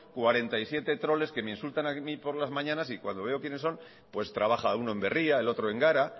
cuarenta y siete troles que me insultan a mí por las mañanas y cuando veo quienes son pues trabajan uno en berria el otro en gara